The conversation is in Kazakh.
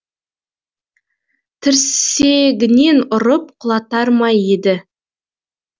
тірсегінен ұрып құлатар ма еді